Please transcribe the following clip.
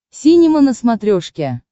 синема на смотрешке